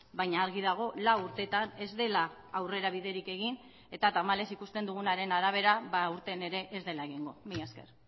baina argi dago lau urteetan ez dela aurrera biderik egin eta tamalez ikusten dugunaren arabera aurten ere ez dela egingo mila esker